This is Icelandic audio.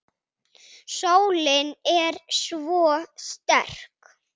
Sólin er svo sterk.